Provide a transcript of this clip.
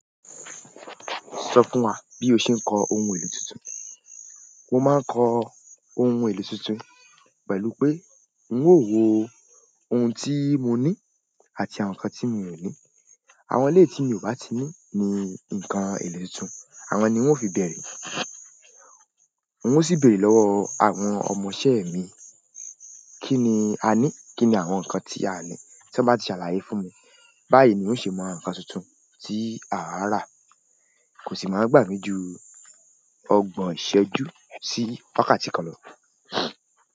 Sọ funwa bí o ṣe ń kó ohun èlò tuntun. Mo máa ń kó ohun èlò tuntun pẹ̀lú pé, n o wo oun ti moni àti àwọn ǹkan tí mi ò ni àwọn eléyi tí mi ò bá ti ní ní nǹkan èlò tuntun, àwọn ni n o fi bẹ̀rẹ̀. N o sì béèrè lọ́wọ́ àwọn ọmọ iṣẹ́ mi, kí ni a ní? Kí ni àwọn nǹkan tí a o ní? Tí wọ́n bá ti ṣàlàyé fún mi, báyi ni n o ṣe mo ǹkan tuntun tí a o ra kò sì máa gbà mí jù ọgbọ̀n ìṣẹ́jú sí wákàtí kan lọ.